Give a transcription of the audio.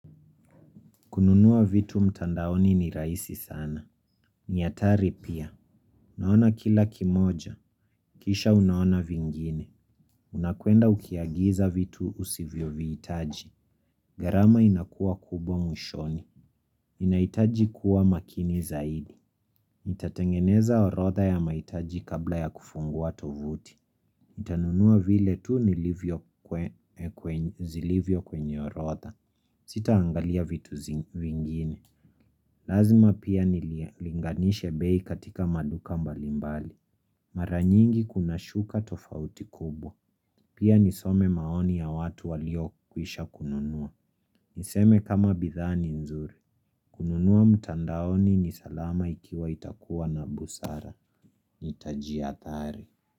Kununua vitu mtandaoni ni rahisi sana na hatari pia Naona kila kimoja Kisha unaona vingine Unakuenda ukiagiza vitu usivyo viitaji gharama inakua kubwa mwishoni Inaitaji kuwa makini zaidi Nitatengeneza orodha ya mahitaji kabla ya kufungua tovuti Nitanunua vile tu nilivyo kwenye orodha Sitaangalia vitu zingine Lazima pia niliganishe bei katika maduka mbalimbali. Mara nyingi kuna shuka tofauti kubwa. Pia nisome maoni ya watu walio kwisha kununua. Niseme kama bidhaa ni nzuri. Kununua mtandaoni ni salama ikiwa utakuwa na busara. Nitaji ya adhari.